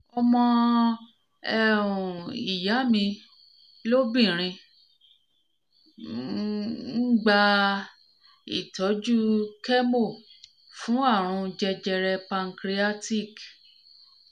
ọmọ um ìyá mi lóbìnrin mi lóbìnrin ń um gba ìtọ́jú chemo fún àrùn jẹjẹrẹ pancreatic